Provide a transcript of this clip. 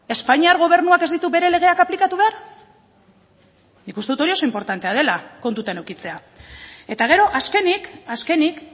espainiar gobernuak ez ditu bere legeak aplikatu behar nik uste dut hori oso inportantea dela kontutan edukitzea eta gero azkenik azkenik